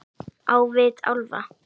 Á vit álfa